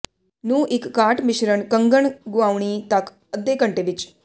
ਨੂੰ ਇੱਕ ਕਾਟ ਮਿਸ਼ਰਣ ਕੰਗਣ ਗੁਆਉਣੀ ਤੱਕ ਅੱਧੇ ਘੰਟੇ ਵਿੱਚ